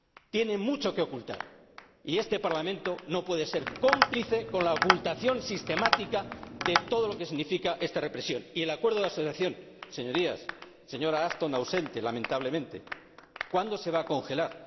Tienen mucho que ocultar y este Parlamento no puede ser cómplice con la ocultación sistemática de todo lo que significa esta represión y el acuerdo de asociación, señorías, señora Asthon —ausente lamentablemente—, ¿cuándo se va a congelar?,